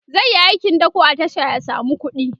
zaiyi aikin dako a tasha ya samu kuɗi